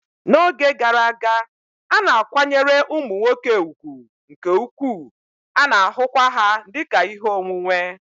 N'oge gara aga, a na-akwanyere ụmụ nwoke ùgwù nke ukwuu, a na-ahụkwa ha dị ka ihe onwunwe